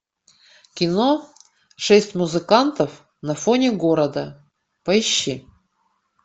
кино шесть музыкантов на фоне города поищи